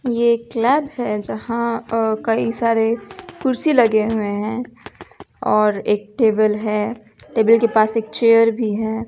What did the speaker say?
ये क्लब है जहां कई सारे कुर्सी लगे हुए हैं और एक टेबल है। टेबल के पास एक चेयर भी है।